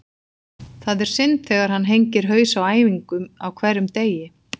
Það er synd þegar hann hengir haus á æfingum á hverjum degi.